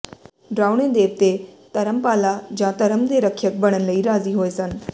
ਡਰਾਉਣੇ ਦੇਵਤੇ ਧਰਮਪਾਲਾ ਜਾਂ ਧਰਮ ਦੇ ਰਖਿਅਕ ਬਣਨ ਲਈ ਰਾਜ਼ੀ ਹੋਏ ਸਨ